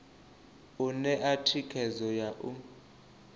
u ṋea thikhedzo ya u